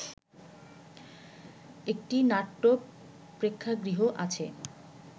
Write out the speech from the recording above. একটি নাট্য প্রেক্ষাগৃহ আছে